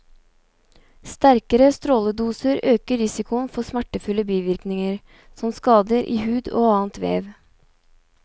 Sterkere stråledoser øker risikoen for smertefulle bivirkninger, som skader i hud og annet vev.